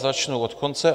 Začnu od konce.